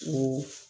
O